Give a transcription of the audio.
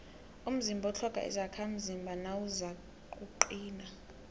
umzimba utlhoga izakhamzimba nawuzakuqina